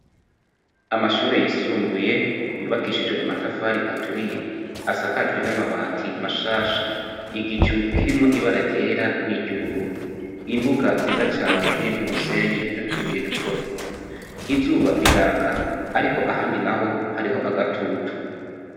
Amashure yisumbuye yubakishijwe amatafari aturiye asakajwe n'amabati mashasha igicu kirimwo ibara ryera , niry’ubururu imbuga nziza cane irimwo umusenyi nutubuye duto duto izuba riraka ariko ahandi naho hariho agatutu.